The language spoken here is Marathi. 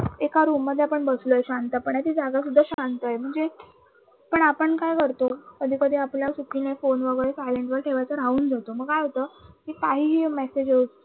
एका room मध्ये आपण बसलोय शांत पणे ती जागा सुद्धा शांत आहे म्हणजे पण आपण काय करतो कधीकधी आपल्या चुकीने phone वैगरे silent वर ठेवायचे राहून जाते मग काय होत कि काहीही message